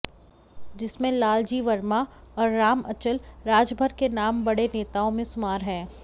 जिसमें लाल जी वर्मा और राम अचल राजभर के नाम बड़े नेताओं में सुमार हैं